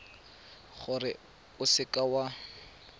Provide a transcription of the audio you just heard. gore o seka w a